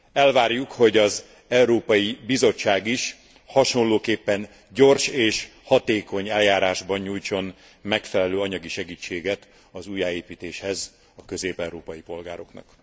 Elvárjuk, hogy az Európai Bizottság is hasonlóképpen gyors és hatékony eljárásban nyújtson megfelelő anyagi segítséget az újjáépítéshez a közép európai polgároknak.